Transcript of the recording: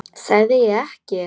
Sagði ég ekki?